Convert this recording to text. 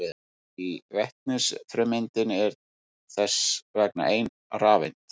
Í vetnisfrumeindinni er þess vegna ein rafeind.